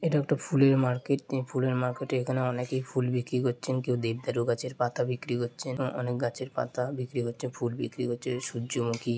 এটা একটা ফুলের মার্কেট । এই ফুলের মার্কেটে এখানে অনেকেই ফুল বিক্রি করছেন কেউ দেবদারু গাছের পাতা বিক্রি করছেন অ-অনেক গাছের পাতা বিক্রি করছে ফুল বিক্রি করছে সূর্যমুখী।